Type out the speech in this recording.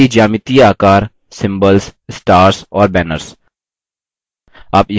बुनियादी geometric आकार symbols stars और banners